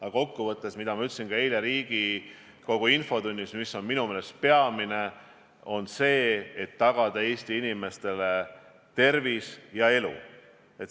Aga kokkuvõttes, nagu ma ütlesin ka eile Riigikogu infotunnis, peamine on tagada Eesti inimeste tervis ja elu.